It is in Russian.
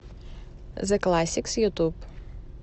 зэ классикс ютуб